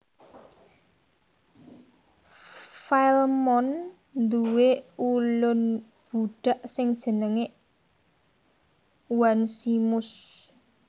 Filemon nduwé ulun budhak sing jenengé Onesimus